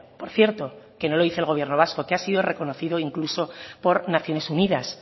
por cierto que no lo dice el gobierno vasco que ha sido reconocido incluso por naciones unidas